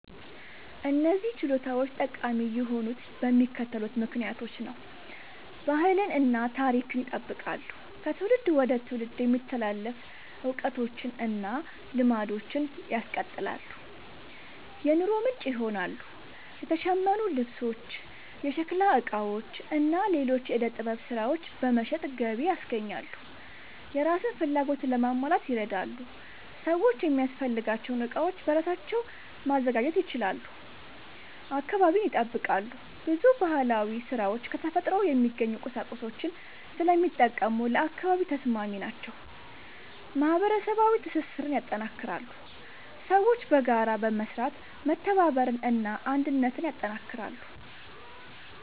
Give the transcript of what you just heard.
እነዚህ ችሎታዎች ጠቃሚ የሆኑት በሚከተሉት ምክንያቶች ነው፦ ባህልን እና ታሪክን ይጠብቃሉ – ከትውልድ ወደ ትውልድ የሚተላለፉ እውቀቶችን እና ልማዶችን ያስቀጥላሉ። የኑሮ ምንጭ ይሆናሉ – የተሸመኑ ልብሶች፣ የሸክላ ዕቃዎች እና ሌሎች የዕደ ጥበብ ሥራዎች በመሸጥ ገቢ ያስገኛሉ። የራስን ፍላጎት ለማሟላት ይረዳሉ – ሰዎች የሚያስፈልጋቸውን ዕቃዎች በራሳቸው ማዘጋጀት ይችላሉ። አካባቢን ይጠብቃሉ – ብዙ ባህላዊ ሥራዎች ከተፈጥሮ የሚገኙ ቁሳቁሶችን ስለሚጠቀሙ ለአካባቢ ተስማሚ ናቸው። ማህበረሰባዊ ትስስርን ያጠናክራሉ – ሰዎች በጋራ በመስራት መተባበርን እና አንድነትን ያጠናክራሉ።